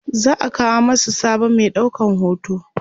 za'a kawo masu sabon Mai ɗaukan hoto